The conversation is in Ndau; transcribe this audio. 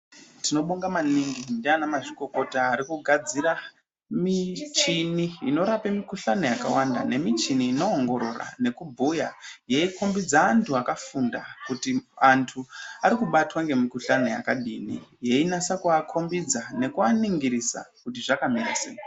Tinobonga maningi ndiana mazvikokota arikugadzira michini inorape mikukhlane yakawanda nemichini inoongorora nekubhuya yeikombidza antu akafunda kuti antu ari kubatwa ngemikuhlane yakadini yeinasa kuakombidza nekuaningirisa kuti zvakamira sei.